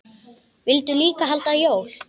Vildu líka halda jól.